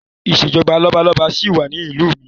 Ìṣèjọba lọ́balọ́ba sì wà ní ìlú mi